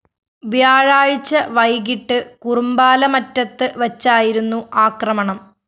വ്യാഴാഴ്ച വൈകിട്ട് കുറുമ്പാലമറ്റത്ത് വച്ചായിരുന്നു ആക്രമണം